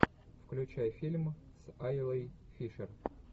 включай фильм с айлой фишер